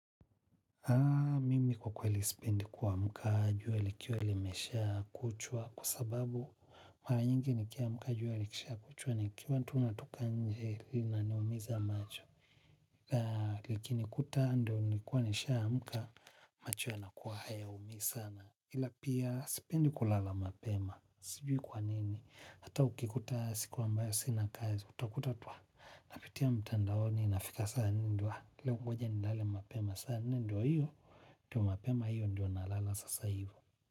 Mimi kwa kweli sipendi kuamka jua likiwa limesha kuchwa kwa sababu mara nyingi nikiamka jua likisha kuchwa nikiwa tu natoka nje linaniumiza macho. La likinikuta ndio nilikuwa nishaamka, macho yanakuwa hayaumii sana ila pia sipendi kulala mapema. Sijui kwa nini. Hata ukikuta siku ambayo sina kazi utakuta tu napitia mtandaoni nafika saa nne ndio nangoja ninale mapema saa nne ndio hiyo, to mapema hiyo ndio nalala sasa hivo.